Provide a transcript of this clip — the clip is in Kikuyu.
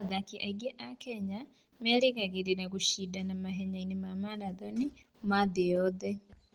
Athaki aingĩ a Kenya merĩgagĩrĩra gũcindana mahenya-inĩ ma marathoni ma thĩ yothe.